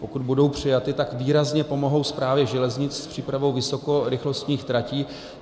Pokud budou přijaty, tak výrazně pomohou Správě železnic s přípravou vysokorychlostních tratí.